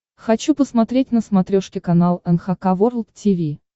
хочу посмотреть на смотрешке канал эн эйч кей волд ти ви